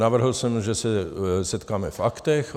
Navrhl jsem, že se setkáme v aktech.